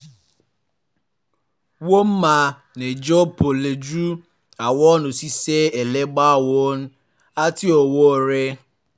wọ́n máa ń jẹun pọ̀ pẹ̀lú àwọn òṣìṣẹ́ ẹlẹgbẹ́ wọn àti àwọn ọ̀rẹ́